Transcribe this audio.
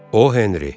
O Henry.